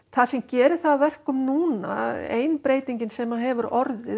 það sem gerir það að verkum núna að ein breytingin sem hefur orðið